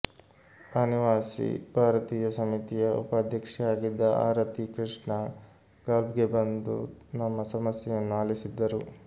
ಅನಿವಾಸಿ ಭಾರತೀಯ ಸಮಿತಿಯ ಉಪಾಧ್ಯಕ್ಷೆಯಾಗಿದ್ದ ಆರತಿ ಕೃಷ್ಣ ಗಲ್ಫ್ಗೆ ಬಂದು ನಮ್ಮ ಸಮಸ್ಯೆಯನ್ನು ಆಲಿಸಿದ್ದರು